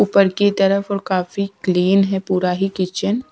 ऊपर की तरफ और काफी क्लीन है पूरा ही किचन।